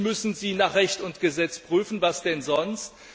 Natürlich müssen Sie nach Recht und Gesetz prüfen, was denn sonst!